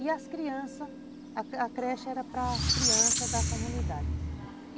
E as crianças, a creche era para as crianças da comunidade.